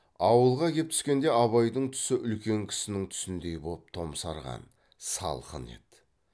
ауылға кеп түскенде абайдың түсі үлкен кісінің түсіндей боп томсарған салқын